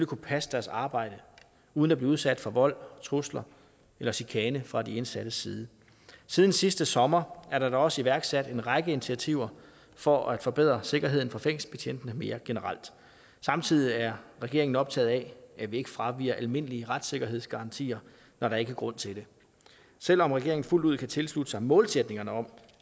kunne passe deres arbejde uden at blive udsat for vold trusler eller chikane fra de indsattes side siden sidste sommer er der da også iværksat en række initiativer for at forbedre sikkerheden for fængselsbetjentene mere generelt samtidig er regeringen optaget af at vi ikke fraviger almindelige retssikkerhedsgarantier når der ikke er grund til det selv om regeringen fuldt ud kan tilslutte sig målsætningerne om